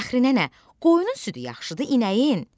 Fəxrinənə, qoyunun südü yaxşıdır inəyin?